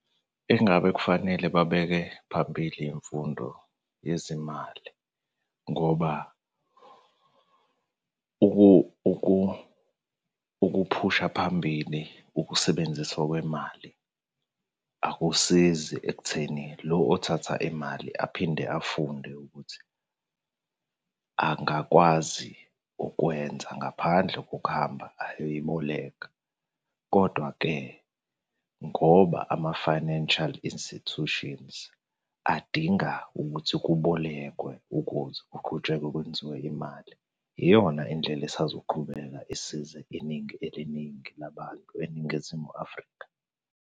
Engabe kufanele babeke phambili imfundo yezimali ngoba ukuphusha phambili ukusebenziswa kwemali akusizi ekutheni lo othatha imali aphinde afunde ukuthi angakwazi ukwenza ngaphandle kokuhamba ayoyiboleka, kodwa-ke ngoba ama-financial institutions adinga ukuthi kubolekwe ukuze kuqhutshekwe kwenziwe imali. Iyona indlela esazoqhubeka isize iningi eliningi labantu eNingizimu Afrika.